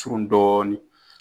surun dɔɔni.